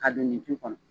Ka don nin ji kɔnɔ